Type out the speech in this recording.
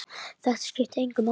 Þetta skipti engu máli.